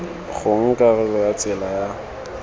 gongwe karolo ya tsela ya